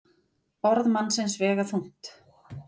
Orð mannsins vega þungt.